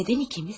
Nədən ikimiz?